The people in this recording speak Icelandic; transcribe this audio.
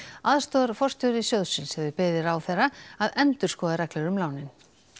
aðstoðarforstjóri sjóðsins hefur beðið ráðherra að endurskoða reglur um lánin